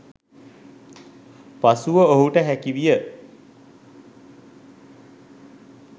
පසුව ඔහුට හැකිවිය